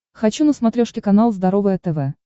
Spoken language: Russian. хочу на смотрешке канал здоровое тв